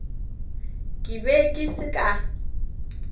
ke be ke se ka